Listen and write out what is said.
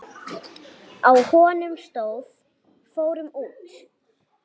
Á honum stóð: Fórum út!